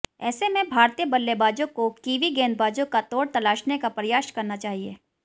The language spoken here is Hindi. ऐसे में भारतीय बल्लेबाजों को कीवी गेंदबाजों का तोड़ तलाशने का प्रयास करना चाहिए